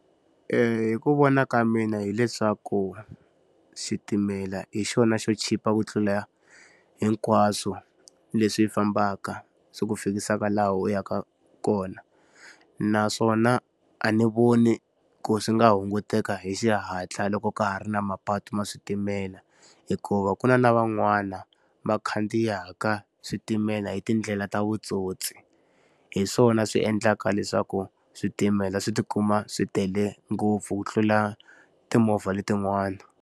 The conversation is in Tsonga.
Hi ku vona ka mina hileswaku, xitimela hi xona xo chipa ku tlula hinkwaswo leswi hi fambaka swi ku fikisaka laha u yaka kona. Naswona a ndzi voni ku swi nga hunguteka hi xihatla loko ka ha ri na mapatu ma switimela. Hikuva ku na na van'wana va khandziyaka switimela hi tindlela ta vutsotsi, hi swona swi endlaka leswaku switimela swi ti kuma swi tele ngopfu ku tlula timovha letin'wana.